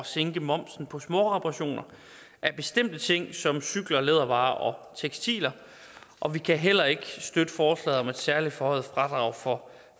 sænke momsen på småreparationer af bestemte ting som cykler lædervarer og tekstiler og vi kan heller ikke støtte forslaget om et særligt forhøjet fradrag for